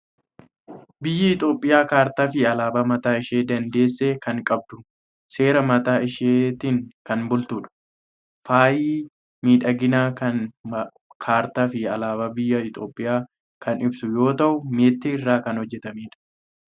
Biyyi Itoophiyaa kaartaa fi alaabaa mataa ishii dandeesse kan qabdu, seera mataa ishiitiin kan bultudha. Faayi miidhaginaa kun kaartaa fi alaabaa biyya Itoophiyaa kan ibsu yoo ta'u, meetii irraa kan hojjetamedha.